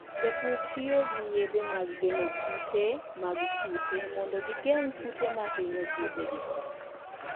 Jopur tiyo gi yedhe mag geng'o kute mag kute mondo gigeng' kute ma hinyo puothegi.